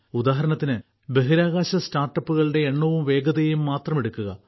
ഉദാഹരണത്തിന് ബഹിരാകാശ സ്റ്റാർട്ടപ്പുകളുടെ എണ്ണവും വേഗതയും മാത്രം എടുക്കുക